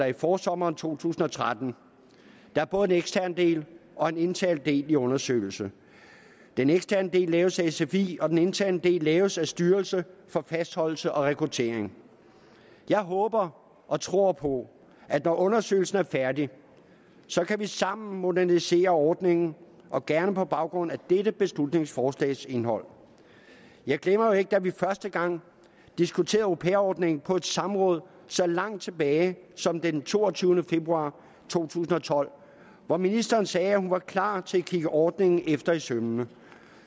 i forsommeren to tusind og tretten der er både en ekstern del og en intern del i undersøgelsen den eksterne del laves af sfi og den interne del laves af styrelsen for fastholdelse og rekruttering jeg håber og tror på at når undersøgelsen er færdig kan vi sammen modernisere ordningen og gerne på baggrund af dette beslutningsforslags indhold jeg glemmer jo ikke da vi første gang diskuterede au pair ordningen på et samråd så langt tilbage som den toogtyvende februar to tusind og tolv hvor ministeren sagde at hun var klar til at kigge ordningen efter i sømmene